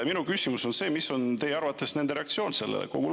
Minu küsimus on: mis on teie arvates nende reaktsioon sellele?